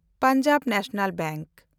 Punjab national bank